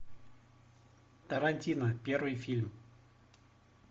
тарантино первый фильм